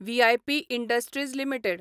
V I P industries limited